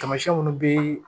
Tamasiyɛn munnu be